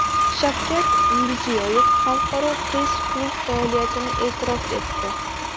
Shavkat Mirziyoyev Xalqaro press-klub faoliyatini e’tirof etdi.